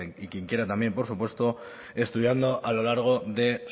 y quien quiera también por supuesto estudiando a lo largo de